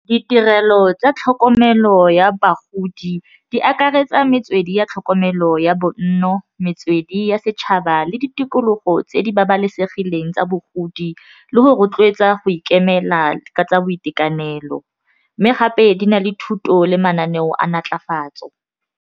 Ditirelo tsa tlhokomelo ya bagodi di akaretsa metswedi ya tlhokomelo ya bonno, metswedi ya setšhaba le di tikologo tse di babalesegileng tsa bogodi le go rotloetsa go ikemela tsa boitekanelo mme gape di na le thuto le mananeo a natlafatso.